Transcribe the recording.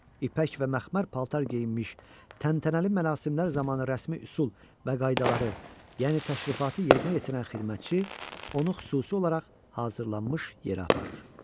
İpək və məxmər paltar geyinmiş, təntənəli mərasimlər zamanı rəsmi üsul və qaydaları, yəni təşrifatı yerinə yetirən xidmətçi onu xüsusi olaraq hazırlanmış yerə aparır.